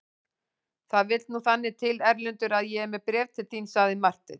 Það vill nú þannig til Erlendur að ég er með bréf til þín, sagði Marteinn.